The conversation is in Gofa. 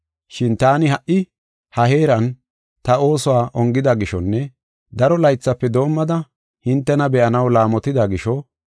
Shin taani ha77i ha heeran ta oosuwa ongida gishonne daro laythafe doomada hintena be7anaw laamotida gisho,